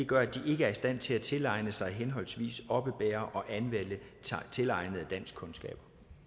gør at de ikke er i stand til at tilegne sig henholdsvis oppebære og anvende tilegnede danskkundskaber